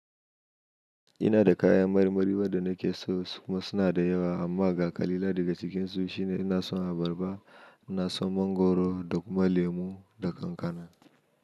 Ina da kayan marmari wadda nake son kuma suna da yawa amma ga ƙalilan daga cikinsu shine ina son abarba, ina son mangoro da kuma lemu da kankana.